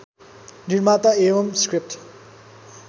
निर्माता एवं स्क्रिप्ट